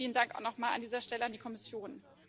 Vielen Dank noch mal an dieser Stelle an die Kommission.